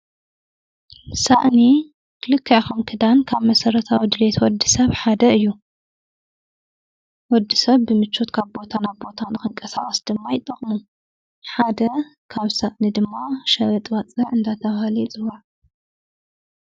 ሣእኒ ክልክያኸም ክዳን ካብ መሠረታ ወድልየት ወዲ ሰብ ሓደ እዩ ወዲ ሰብ ብምቾት ካብ ቦታና ኣብ ቦታን ኽንቀ ሣኣስ ድማ ኣይጠቕሙ ሓደ ካብ ሳእኒ ድማ ሸበጥዋፀዕ እንዳተብሃለ የጽዋል::